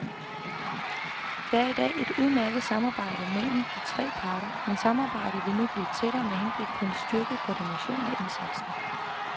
Der er i dag et udmærket samarbejde mellem de tre parter, men samarbejdet vil nu blive tættere med henblik på en styrket koordination af indsatsen.